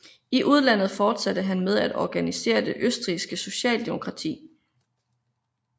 I udlandet fortsatte han med at organisere det østrigske socialdemokrati